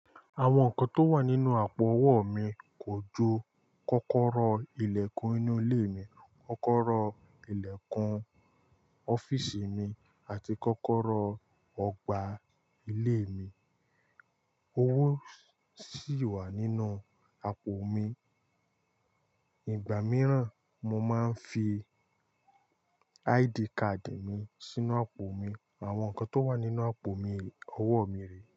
Àwọn nǹkan tó wà nínú àpò owó mi kò ju kọ́kọ́rọ́ ilẹ̀kùn inú ilé mi, kọ́kọ́rọ́ ilẹ̀kùn ọ́fíìsì mi àti kọ́kọ́rọ́ ọgbà ilé mi. Owó sì wà nínú àpò mi. Ìgbà mìíràn mo máa ń fi ID card mi sínú àpò mi. Àwọn nǹkan tó wà nínú àpò mi, owó mi rèé.